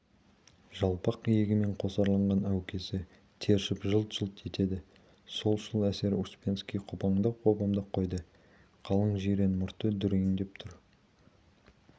жалпақ иегімен қосарланған әукесі тершіп жылт-жылт етеді солшыл-эсер успенский қопаңдап-қопаңдап қойды қалың жирен мұрты дүрдиіңкіреп тұр